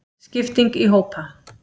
Skipting í hópa.